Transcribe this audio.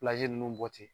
ninnu bɔ ten